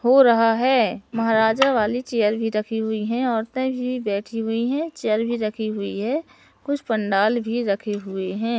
हो रहा है महाराजा वाली चेयर भी रखी हुई हैं औरतें भी बैठी हुई हैं चेयर भी रखी हुई है कुछ पंडाल भी रखे हुए हैं।